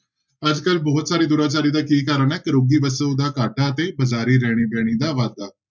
ਅੱਜ ਕੱਲ੍ਹ ਬਹੁਤ ਸਾਰੇ ਦੁਰਾਚਾਰੀ ਦਾ ਕੀ ਕਾਰਨ ਹੈ, ਘਰੋਗੀ ਵਸੋਂ ਦਾ ਘਾਟਾ ਤੇ ਬਾਜ਼ਾਰੀ ਰਹਿਣੀ ਬਹਿਣੀ ਦਾ ਵਾਧਾ।